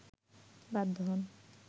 বাধ্য হন